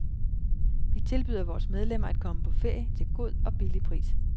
Vi tilbyder vores medlemmer at komme på ferie til god og billig pris.